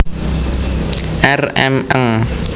R M Ng